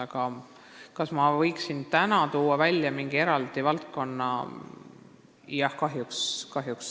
Aga kas ma võiksin täna tuua välja mingi eraldi valdkonna?